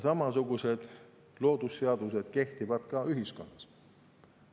Samasugused loodusseadused kehtivad ka ühiskonnas.